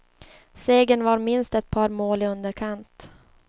Segern var minst ett par mål i underkant.